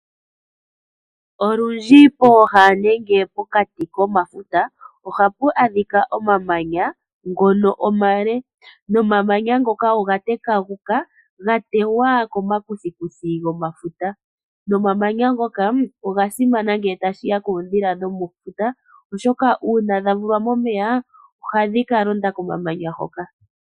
Olundji pooha nenge pokati komafuta ohapu adhika omamanya ngono omale nomamanya ngoka oga tekauka ga tewa komakuthikuthi gomafuta. Nomamanya ngoka oga simana ngele tashiya koondhila dhomefuta oshoka uuna dha vulwa momeya ohadhi ka londa komamanya hoka.